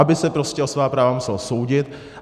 Aby se prostě o svá práva musel soudit.